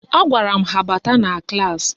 Agwara m ha bata na klaasị